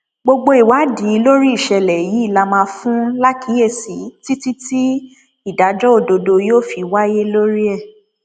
gbogbo ìwádìí lórí ìṣẹlẹ yìí la máa fún lákíyèsí títí tí ìdájọ òdodo yóò fi wáyé lórí ẹ